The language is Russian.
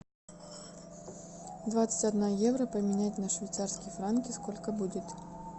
двадцать одна евро поменять на швейцарские франки сколько будет